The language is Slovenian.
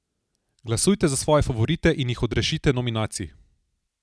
Glasujte za svoje favorite in jih odrešite nominacij!